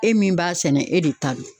E min b'a sɛnɛ, e de ta don.